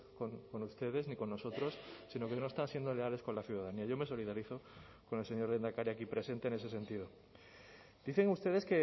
con ustedes ni con nosotros sino que no están siendo leales con la ciudadanía yo me solidarizo con el señor lehendakari aquí presente en ese sentido dicen ustedes